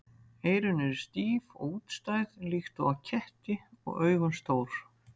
Eyrun eru stíf og útstæð líkt og á ketti og augun stór.